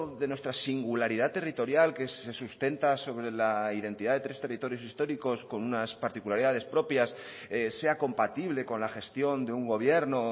de nuestra singularidad territorial que se sustenta sobre la identidad de tres territorios históricos con unas particularidades propias sea compatible con la gestión de un gobierno